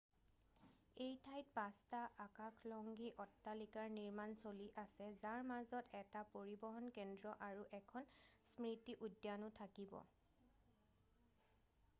এই ঠাইত পাঁচটা আকাশলংঘী অট্টালিকাৰ নিৰ্মাণ চলি আছে যাৰ মাজত এটা পৰিবহণ কেন্দ্ৰ আৰু এখন স্মৃতি উদ্যানো থাকিব